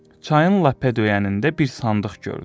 Çayın lap ədöyənində bir sandıq gördü.